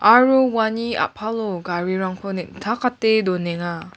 aro uani a·palo garirangko neng·takate donenga.